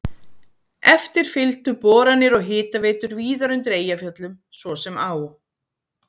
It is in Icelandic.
Eftir fylgdu boranir og hitaveitur víðar undir Eyjafjöllum, svo sem á